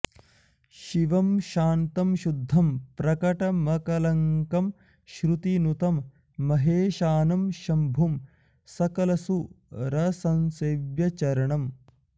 शिवं शान्तं शुद्धं प्रकटमकलङ्कं श्रुतिनुतं महेशानं शम्भुं सकलसुरसंसेव्यचरणम्